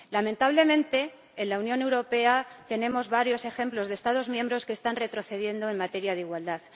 Lamentablemente, en la Unión Europea tenemos varios ejemplos de Estados miembros que están retrocediendo en materia de igualdad.